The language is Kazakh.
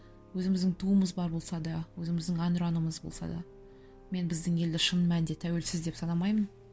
өзіміздің туымыз бар болса да өзіміздің ән ұранымыз болса да мен біздің елді шын мәнінде тәуелсіз деп санамаймын